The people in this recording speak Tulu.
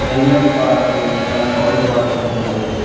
ಹೆಲ್ಮೆಟ್ ಪಾಡ್ದ್ ಒಂಜಿ ಜನ ಕಾಲ್ ಡ್ ಪಾತೆರೊಂದುಲ್ಲೆರ್.